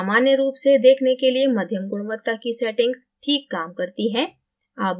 सामान्य रूप से देखने के लिए मध्यम गुणवत्ता की setting ठीक काम करती है